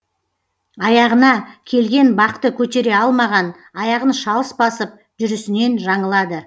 аяғына келген бақты көтере алмаған аяғын шалыс басып жүрісінен жаңылады